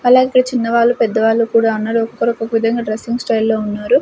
అలాగే ఇక్కడ చిన్నవాళ్ళు పెద్దవాళ్ళు కూడా ఉన్నారు ఒక్కొక్కరు ఒక్కొక్క విధంగా డ్రస్సింగ్ స్టైల్ లో ఉన్నారు.